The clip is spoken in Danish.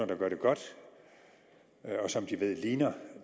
der gør det godt og som de ved ligner